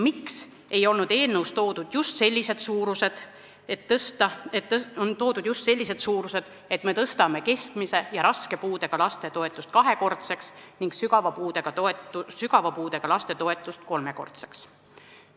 Miks on eelnõus toodud just sellised suurused, et me tõstame keskmise ja raske puudega laste toetust kahekordseks ning sügava puudega laste toetust kolmekordseks?